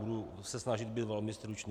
Budu se snažit být velmi stručný.